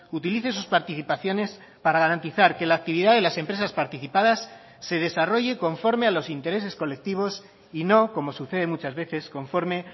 utilice sus participaciones para garantizar que la actividad de las empresas participadas se desarrolle conforme a los intereses colectivos y no como sucede muchas veces conforme